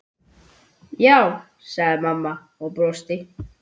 Já, sagði mamma og brosti.